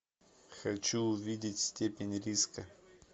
хочу увидеть степень риска